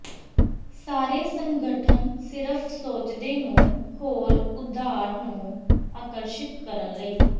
ਸਾਰੇ ਸੰਗਠਨ ਸਿਰਫ ਸੋਚਦੇ ਨੂੰ ਹੋਰ ਉਧਾਰ ਨੂੰ ਆਕਰਸ਼ਿਤ ਕਰਨ ਲਈ